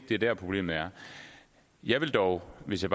det er der problemet er jeg vil dog hvis jeg